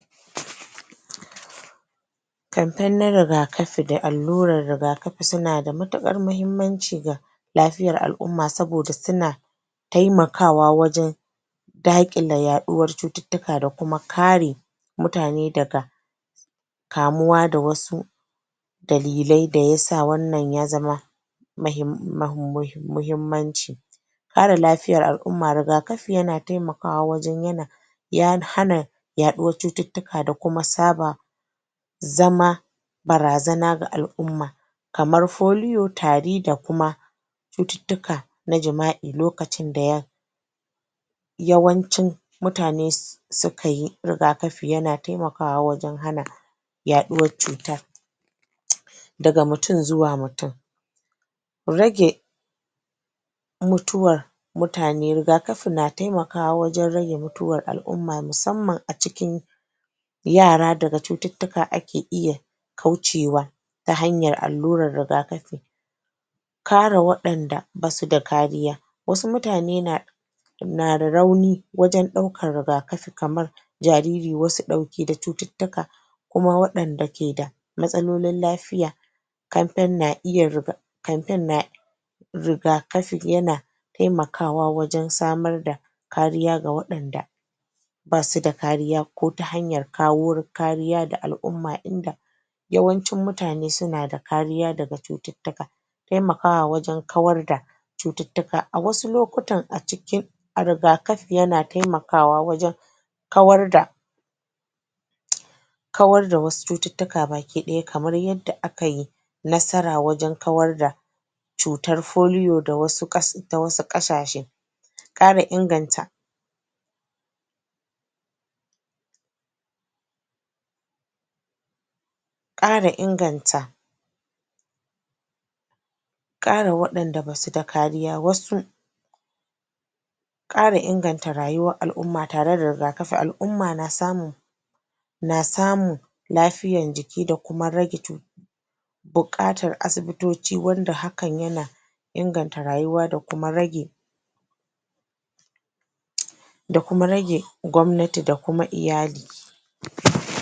Barka da warhaka. A wannan hoto an gwado mana hoto me na matsaya wato na birni Benin City wato ta jihar EDo ke nan. Kamar yadda muka sani, a biranez wato kuma a jahohi akan samu wato shaida na matsaya na kowanne jaha. yayin da akan yi amfani wani da shataletale da ke tsakiyar gari. Yadda za a yi amfani da shi, za a saka shaida wato matsaya na wannan jaha, a tsakiyar wannan shataletale. Kamar yadda muka sani, saka shaida abu ne da yake da matuƙar muhimmanci abu ne da yake da matuƙar tasiri yake inganta jaha. Yayin da aka saka shaida na wannan jaha, yakan wato karrama wannan jaha. A kowane jiha, akwai wato yanayi da irin tsari na, wato matsayarsu. Matsaya na jaha, da wata jaha, ya bambanta. Yayin da a na wato matsayar jahar Edo an ƙawata shi an ƙayata shi ya yi kyau, ya yi gwanin burgewa. Yayin da aka yi shataletale aka wato masa gini irin na, wato duwatsu. wannan gini, gini da yake da ƙarfi. wanda ake wato ƙawata wuri da shi. Yayin da aka ɗora wato gunki wanda yake sanye da wani kaya ajikinsa na al'ada da tagulla da aka yi a jikin wannan gunki, wanda ya bada shaida, na matsaya na wannnan jaha. A jaha ana son a samu wato matsaya wanda za riƙa tutiya da shi wanda za a riƙa alfahari da shi. Kamar yadda muke gani na wannan jiha. ta Benin City, wato ta Edo. Babban birnin Benin City Wato matsaya ne da yake da matuƙar tasiri, ko matsaya ne da yake da ɗinbin tarihi Wanda yake da, ya samo asali tun a shekarun baya. Yayin da ake na ake amfani da shi har a yanzu ake ganin wato matsayarsa. A kowace jaha, in ka shiga ka je wato tsakiyar gari za ka iya wato riskar matsayar wannan jaha. Musamman a asalin babbab birninta. Kamar yadda muka sani akan yi gine-gine na shatetale kala daban-daban. Yayin da akan ƙawata su wani lokacin da furanni, wani lokacin kuma, akan inganta su da wasu ƙarafuna wanda za kewaye shataletale da shi. wanin kuma akan yi gini ne, kamar yadda muke gani. Wannan gini na duwatsu, gine ne da ya ƙawatar gini ne da ya daɗa gyara wato cikin birnin Benin City. Na gode.